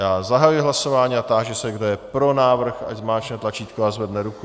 Já zahajuji hlasování a táži se, kdo je pro návrh, ať zmáčkne tlačítko a zvedne ruku.